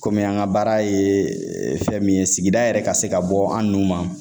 Kɔmi an ka baara ye fɛn min ye sigida yɛrɛ ka se ka bɔ an nu ma